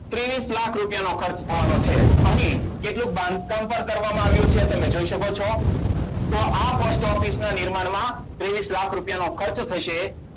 ત્રીશ લાખ રૂપિયા નો ખર્ચ થવાનનોછે અને કેટલુંક બાંધકામ પણ કરવામાં આવ્યું છે તમે જોય શકો છો તો આ Post Office ના નિર્માણમાં ત્રિશલાખ રૂપિયા ખર્ચ થશે